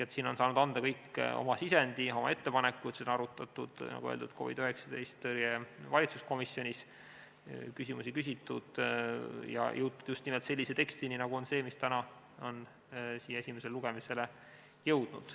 Siin on saanud kõik anda oma sisendi ja oma ettepanekud, seda on arutatud, nagu öeldud, COVID-19 tõrje valitsuskomisjonis, küsimusi on küsitud ja jõutud just nimelt sellise tekstini, nagu on see, mis on täna esimesele lugemisele jõudnud.